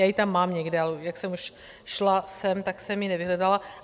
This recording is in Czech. Já ji tam mám někde, ale jak jsem už šla sem, tak jsem ji nevyhledala.